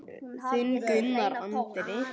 Þinn Gunnar Andri.